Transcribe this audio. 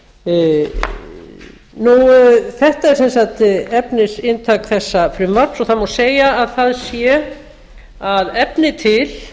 svonefndu peningastefnunefndar þetta er sem sagt efnisinntak þessa frumvarps og það má segja að það sé að efni til